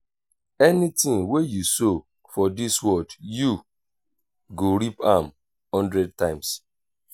anything wey you sow for dis world you go reap am hundred times